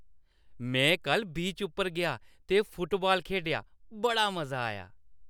में कल्ल बीच उप्पर गेआ ते फुटबाल खेढेआ। बड़ा मजा आया।